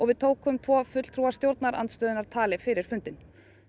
við tókum tvo fulltrúa stjórnarandstöðunnar tali fyrir fundinn